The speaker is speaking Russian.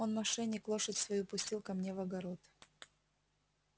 он мошенник лошадь свою пустил ко мне в огород